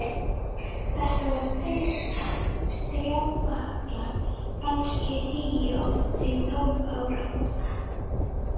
Þetta voru tveir strákpjakkar, kannski tíu til tólf ára.